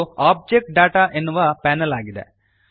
ಇದು object data ಎನ್ನುವ panel ಆಗಿದೆ